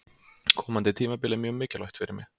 Komandi tímabil er mjög mikilvægt fyrir mig.